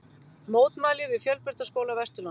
Mótmæli við Fjölbrautaskóla Vesturlands